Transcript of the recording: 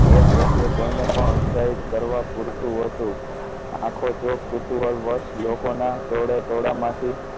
એ દ્રશ્ય કોઈ ને પણ ઉત્સાહિત કરવા પૂરતું હોતું. આખો ચો કુતુહલ વશ લોકો ના ટોળેટોળા માથી